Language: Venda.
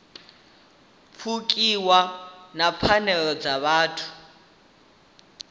pfukiwa ha pfanelo dza vhuthu